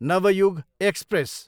Navyug express